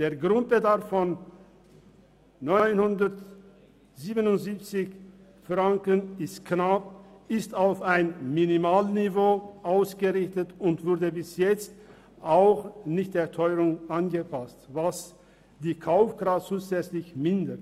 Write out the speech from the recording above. Der Grundbedarf von 977 Franken ist knapp, er ist auf ein Minimalniveau ausgerichtet und wurde bis jetzt auch nicht der Teuerung angepasst, was die Kaufkraft zusätzlich mindert.